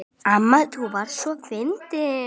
Amma þú varst svo fyndin.